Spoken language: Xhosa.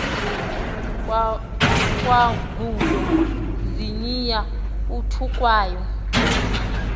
kwangulo ziniya uthukwayo